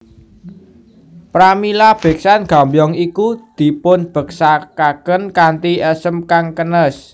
Pramila beksan Gambyong iku dipunbeksakaken kanthi esem kang kenes